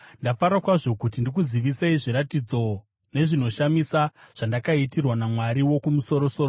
Ndafara kwazvo kuti ndikuzivisei zviratidzo nezvinoshamisa zvandakaitirwa naMwari Wokumusoro-soro.